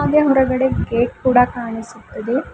ಹಾಗೆ ಹೊರಗಡೆ ಗೇಟ್ ಕೂಡ ಕಾಣಿಸುತ್ತದೆ.